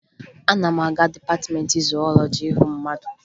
Ana m aga dịpatịmeentị zuwọlọji ịhụ mmadụ